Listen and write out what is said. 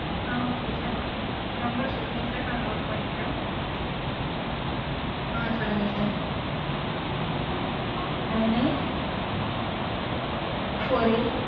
ஆஹ் okay sir number சொல்லுங்க sir. நா note பண்ணிக்கறேன். ஆஹ் சொல்லுங்க sir nine eight four eight.